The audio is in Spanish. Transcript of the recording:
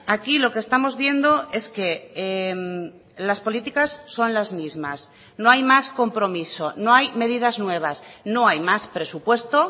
aquí lo que estamos viendo es que las políticas son las mismas no hay más compromiso no hay medidas nuevas no hay más presupuesto